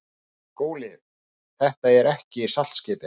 SKÚLI: Þetta er ekki saltskipið.